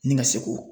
Ni ka seko